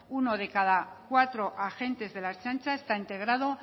uno de cada cuatro agentes de la ertzaintza está integrado